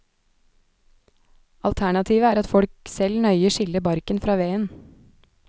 Alternativet er at folk selv nøye skiller barken fra veden.